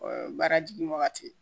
O ye baara jigin wagati